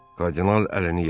Kardinal əlini yellədi.